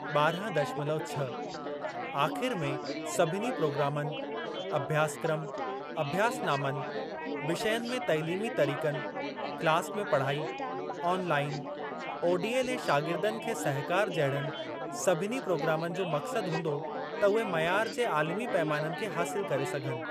ॿारहं दशमलव छह आख़िरि में सभिनी प्रोग्रामनि, अभ्यासक्रम, अभ्यासनामनि, विषयनि में तइलीमी तरीक़नि, क्लास में पढ़ाई, ऑनलाईन, ओडीएल ऐं शागिर्दनि खे सहकार जहिड़नि सभिनी प्रोग्रामनि जो मक़्सद हूंदो त उहे मयार जे आलिमी पैमाननि खे हासिल करे सघनि।